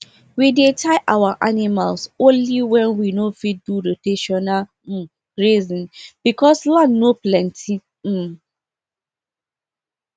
we dey tie our animals only when we no fit do rotational um grazing because land no plenty um